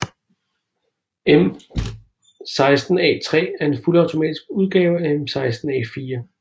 M16A3 er en fuldautomatisk udgave af M16A4